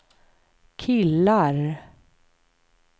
killar